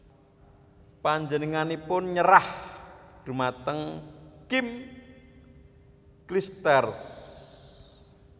Panjenenganipun nyerah dhumateng Kim Clijsters